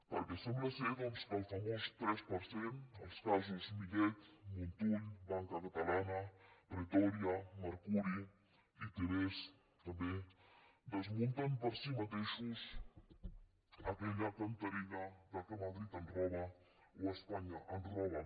perquè sembla doncs que el famós tres per cent els casos millet montull banca catalana pretòria mercuri itv també desmunten per si mateixos aquella cantarella que madrid ens roba o espanya ens roba